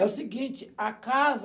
É o seguinte, a casa...